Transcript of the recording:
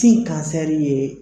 Sin kansɛri ye